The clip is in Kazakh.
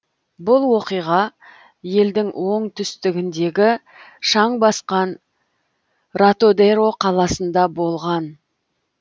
бұл оқиға елдің оңтүстігіндегі шаң басқан ратодеро қаласында болған